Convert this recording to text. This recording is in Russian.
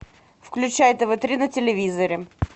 включай тв три на телевизоре